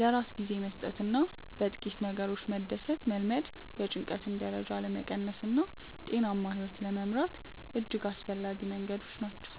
ለራስ ጊዜ መስጠትና በጥቂት ነገሮች መደሰትን መልመድ የጭንቀት ደረጃን ለመቀነስና ጤናማ ሕይወት ለመምራት እጅግ አስፈላጊ መንገዶች ናቸው።